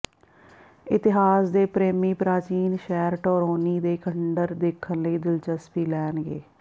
ਇਤਿਹਾਸ ਦੇ ਪ੍ਰੇਮੀ ਪ੍ਰਾਚੀਨ ਸ਼ਹਿਰ ਟੋਰੋਨੀ ਦੇ ਖੰਡਰ ਦੇਖਣ ਲਈ ਦਿਲਚਸਪੀ ਲੈਣਗੇ